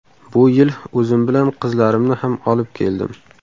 Bu yil o‘zim bilan qizlarimni ham olib keldim”.